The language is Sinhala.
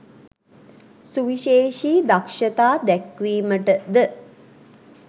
සුවිශේෂී දක්ෂතා දැක්වීමට ද